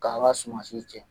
K'an ka sumansiw jeni.